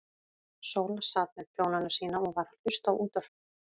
Sóla sat með prjónana sína og var að hlusta á útvarpið.